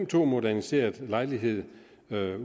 to moderniseret lejlighed